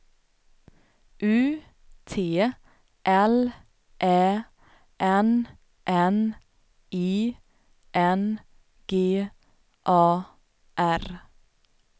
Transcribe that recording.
U T L Ä N N I N G A R